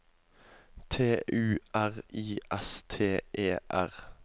T U R I S T E R